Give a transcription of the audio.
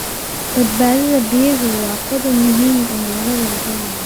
Badbaadada biyuhu waa qodob muhiim ah oo laga wada hadlayo.